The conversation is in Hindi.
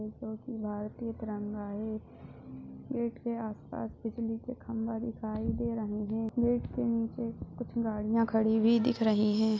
भारतीय तिरंगा है गेट के आसपास बिजली के खम्बा दिखाई दे रहे है गेट के निचे कुछ गाड़िया खड़ी हुई दिख रही हैं।